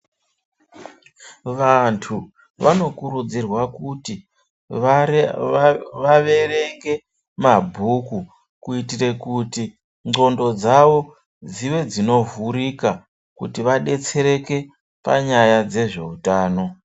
Vantu vanokurudzirwa kuti vaverenge mabhuku kuitire kuti ndxondo dzvavo dzive dzinovhirika kuti vadetsereke panyaya dzezveutano.